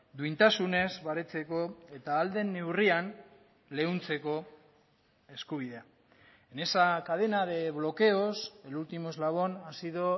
duintasunez baretzeko eta ahal den neurrian leuntzeko eskubidea en esa cadena de bloqueos el último eslabón ha sido